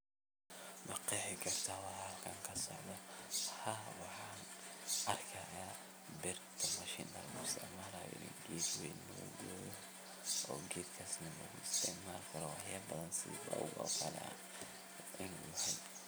Ma qeexi kartaa waxaa halkani ka socdo? Haa waxan arkayaa birta mashinta loo isticmalaya in geed weyn lagugooyo oo geedakani laguisticmali karo waxyaabo badan sida bawga oo kale.